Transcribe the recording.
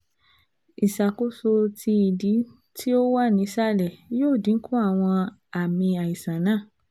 Iṣakoso ti idi ti o wa ni isalẹ yoo dinku awọn aami aisan naa